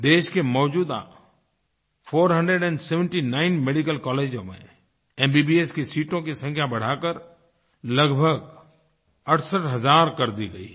देश के मौजूदा 479 मेडिकल कॉलेजों में MBBSकी सीटों की संख्या बढ़ाकर लगभग 68 हज़ार कर दी गई हैं